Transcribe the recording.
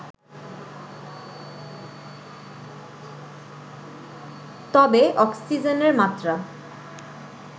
তবে অক্সিজেনের মাত্রা